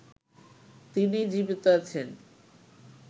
তিনিই জীবিত আছেন